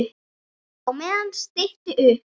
Á meðan stytti upp.